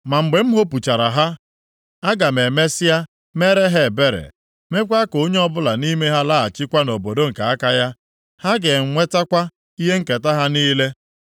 Ma mgbe m hopuchara ha, aga m emesịa meere ha ebere, meekwa ka onye ọbụla nʼime ha laghachikwa nʼobodo nke aka ya. Ha ga-enwetakwa ihe nketa ha niile.